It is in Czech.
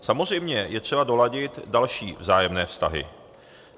Samozřejmě je třeba doladit další vzájemné vztahy.